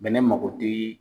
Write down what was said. Bɛnɛ mako tɛ